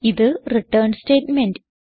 ഇത് return statement